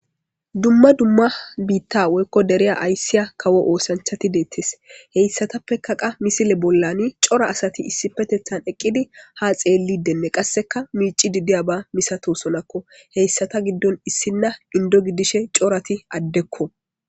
Dumma dumma dere woyko bita aysiya kawo osanchat detes hesatapeka qas misile bollan cora asat issipetethan eqid ha xelidine qase micid de'iya misatosonako , issitappe issina Indo gidishn corat adeko.